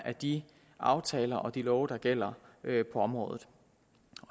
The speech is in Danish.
af de aftaler og de love der gælder på området